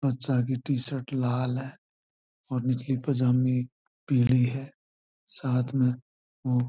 बच्चा की टीशर्ट लाल है और निचली पजामी पिली है साथ में वो --